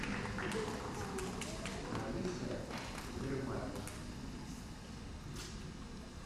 лариса кадырмаева